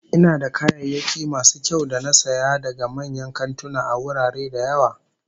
Ina da kayayyaki masu kyau da na saya daga manyan kantuna a wurare da yawa